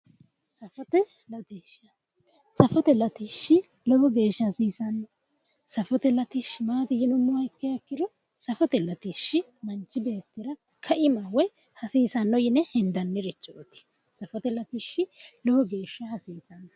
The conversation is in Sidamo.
Safote latisha. Safote latishi lowo geesha hasiisanno safote latishi maati yinummoha ikkiro safote latishi manichi beettira kaimaho woyi hasiisano yine hendannirichoot safote latishi lowo geesha hasiisanno